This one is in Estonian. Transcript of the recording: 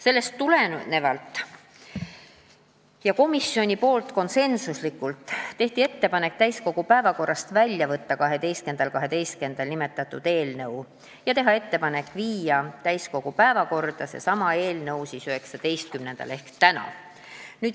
Sellest tulenevalt tegi komisjon konsensuslikult ettepaneku eelnõu täiskogu päevakorrast 12. detsembril välja võtta ja saata seesama eelnõu täiskogu päevakorda 19-ndaks ehk tänaseks.